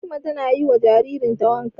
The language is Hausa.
Fatima ta na yi wa jaririn ta wanka